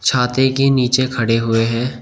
छाते के नीचे खड़े हुए हैं।